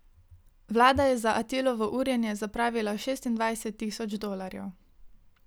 Vlada je za Atilovo urjenje zapravila šestindvajset tisoč dolarjev.